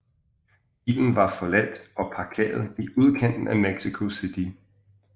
Bilen var forladt og parkeret i udkanten af Mexico City